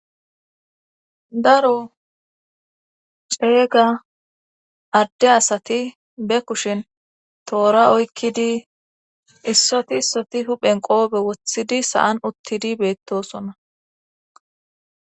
daro ceeyga adde asati be kushin toora oykkidi issoti issoti huphen qoobe wothidi sa7an uttidi beettosona